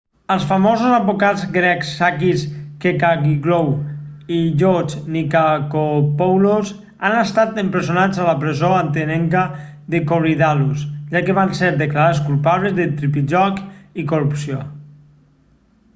els famosos advocats grecs sakis kechagioglou i george nikolakopoulos han estat empresonats a la presó atenenca de korydallus ja que van ser declarats culpables de tripijoc i corrupció